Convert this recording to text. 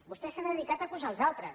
vostè s’ha dedicat a acusar els altres